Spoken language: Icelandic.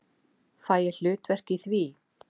Fæ ég hlutverk í því?